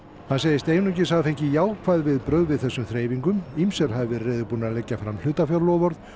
hann segist einungis hafa fengið jákvæð viðbrögð við þessum þreifingum ýmsir hafi verið reiðubúnir að leggja fram hlutafjárloforð